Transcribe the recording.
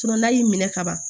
n'a y'i minɛ ka ban